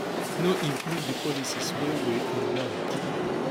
no include di policies wey wey im want